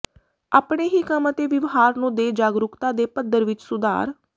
ਆਪਣੇ ਹੀ ਕੰਮ ਅਤੇ ਵਿਵਹਾਰ ਨੂੰ ਦੇ ਜਾਗਰੂਕਤਾ ਦੇ ਪੱਧਰ ਵਿੱਚ ਸੁਧਾਰ